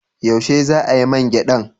Yaushe za a yi man gyadan?